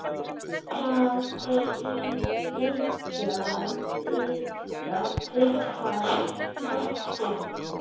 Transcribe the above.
Það er ykkar háttur.